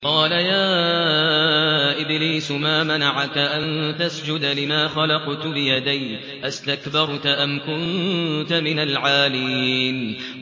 قَالَ يَا إِبْلِيسُ مَا مَنَعَكَ أَن تَسْجُدَ لِمَا خَلَقْتُ بِيَدَيَّ ۖ أَسْتَكْبَرْتَ أَمْ كُنتَ مِنَ الْعَالِينَ